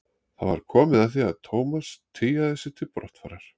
Það var komið að því að Thomas tygjaði sig til brottfarar.